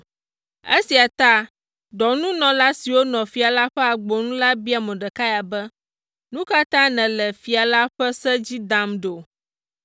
Esia ta, dɔnunɔla siwo nɔ fia la ƒe agbo nu la bia Mordekai be, “Nu ka ta nèle fia la ƒe se dzi dam ɖo?”